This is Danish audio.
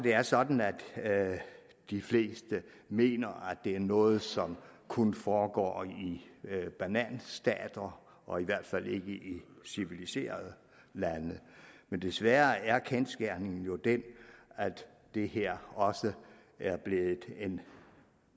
er sådan at de fleste mener at det er noget som kun foregår i bananstater og i hvert fald ikke i civiliserede lande men desværre er kendsgerningen jo den at det her også er blevet en